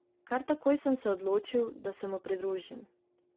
Kar takoj sem se odločil, da se mu pridružim.